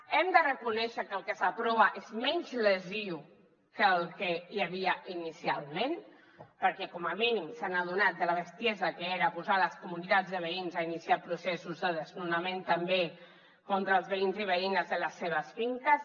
hem de reconèixer que el que s’aprova és menys lesiu que el que hi havia inicialment perquè com a mínim s’han adonat de la bestiesa que era posar les comunitats de veïns a iniciar processos de desnonament també contra els veïns i veïnes de les seves finques